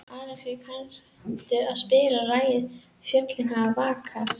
Alexíus, kanntu að spila lagið „Fjöllin hafa vakað“?